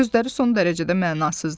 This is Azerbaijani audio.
Sözləri son dərəcədə mənasızdı.